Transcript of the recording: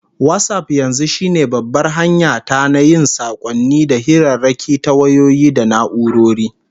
WhatsApp yanzu shine babbar hanya ta na yin sakonni da hirarraki ta wayoyi da na'urori